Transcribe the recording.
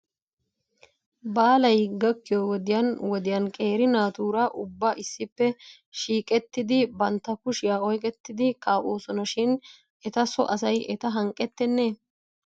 Baalay gakkiyoo wodiyan wodiyan qeeri naatuura ubba issippe shiiqettidi bantta kushiyaa oyqqettidi kaa'oosona shin eta so asay eta hanqqetenee ?